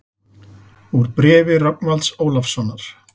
Úr bréfi Rögnvalds Ólafssonar